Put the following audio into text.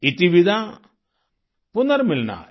इतिविदा पुनर्मिलनाय